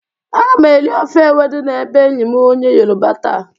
Aga m eri ofe ewedu n'ebe enyi m onye yoroba taa.